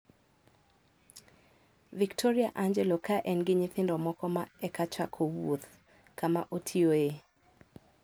Victoria Angelo ka en gi nyithindo moko ma eka chako wuoth, kama otiyoe.